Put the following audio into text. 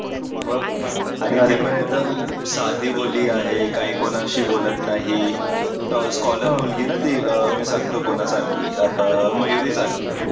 मग साधीभोळी आहे काही कोणाशी बोलत नाही scholar मुलगी आहे ना ती मी सांगतो कोणासारखी आहे आता मयुरी सारखी